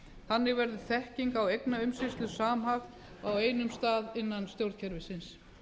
þannig verður þekking á eignaumsýslu samhæfð á einum stað innan stjórnkerfisins